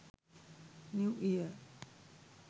new year